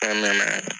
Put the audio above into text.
An nana